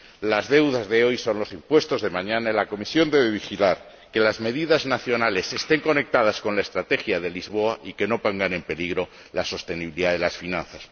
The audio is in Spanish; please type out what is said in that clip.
Las deudas de hoy son los impuestos de mañana y la Comisión debe velar por que las medidas nacionales estén conectadas con la Estrategia de Lisboa y no pongan en peligro la sostenibilidad de las finanzas.